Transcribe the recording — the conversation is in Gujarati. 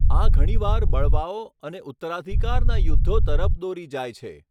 આ ઘણીવાર બળવાઓ અને ઉત્તરાધિકારના યુદ્ધો તરફ દોરી જાય છે.